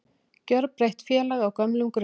Gjörbreytt félag á gömlum grunni